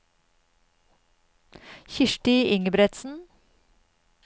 Kirsti Ingebretsen